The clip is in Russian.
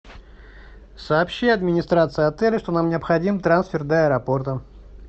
сообщи администрации отеля что нам необходим трансфер до аэропорта